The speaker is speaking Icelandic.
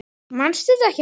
Manstu þetta ekki, maður.